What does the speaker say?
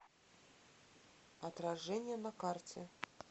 отражение на карте